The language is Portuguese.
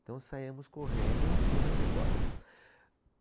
Então saímos correndo para o refeitório.